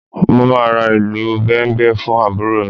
Mo máa ra ìlù Bẹ̀m̀bẹ̀ fún àbúrò mi